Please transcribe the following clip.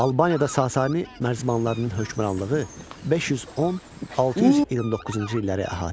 Albaniyada Sasani mərzbanlarının hökmranlığı 510-629-cu illəri əhatə etdi.